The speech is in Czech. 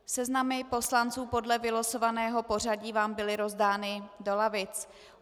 Seznamy poslanců podle vylosovaného pořadí vám byly rozdány do lavic.